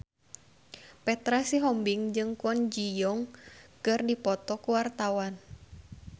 Petra Sihombing jeung Kwon Ji Yong keur dipoto ku wartawan